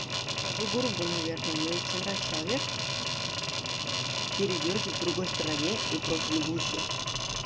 скажу грубо наверное но если тебе нравится человек передёргивай в другой стороне и просто любуйся